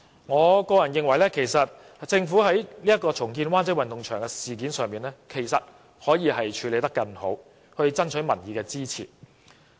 我個人認為，政府在重建灣仔運動場一事上其實可以處理得更好，以爭取民意支持。